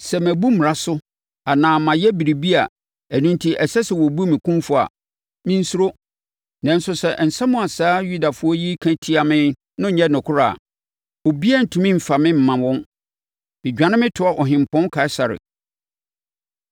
Sɛ mabu mmara so anaa mayɛ biribiara a ɛno enti ɛsɛ sɛ wɔbu me kumfɔ a, mensuro. Nanso, sɛ nsɛm a saa Yudafoɔ yi ka tia me no nyɛ nokorɛ a, obiara rentumi mfa me mma wɔn. Medwane metoa Ɔhempɔn Kaesare.”